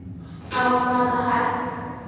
Á hvaða hæð?